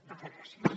moltes gràcies